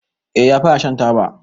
Eh ya fara Shan taba.